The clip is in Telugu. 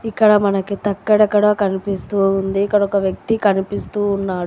ఇక్కడ మనకి తక్కడ కడ కనిపిస్తూ ఉంది ఒక వ్యక్తి కనిపిస్తూ ఉన్నాడు.